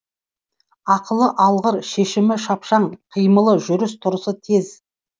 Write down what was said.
ақылы алғыр шешімі шапшаң қимылы жүріс тұрысы тез